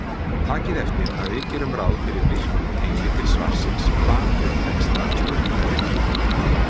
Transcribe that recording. Takið eftir að við gerum ráð fyrir virkum tengli til svarsins bak við texta spurningarinnar.